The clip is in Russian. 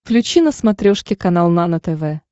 включи на смотрешке канал нано тв